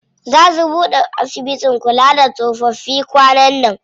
Zaa su buɗe asibitin kula da tsofaffi kwanan nan.